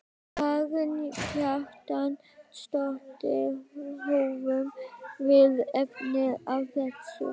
Karen Kjartansdóttir: Höfum við efni á þessu?